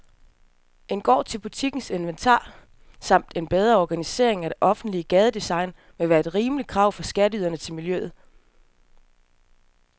En gård til butikkens inventar samt en bedre organisering af det offentlige gadedesign ville være et rimeligt krav fra skatteyderne til miljøet.